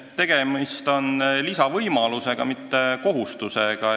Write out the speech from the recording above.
Tegemist on lisavõimalusega, mitte kohustusega.